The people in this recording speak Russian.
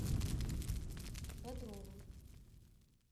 бодрова